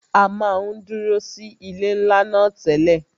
À máa ń dúró sí ilé ńlá náà tẹ́lẹ̀